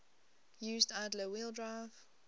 used idler wheel drive